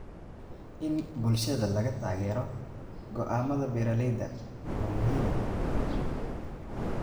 In bulshada laga taageero go'aamada beeralayda waa muhiim.